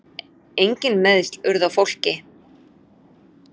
Engin meiðsl urðu á fólki.